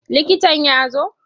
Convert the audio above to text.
Likitan ya zo?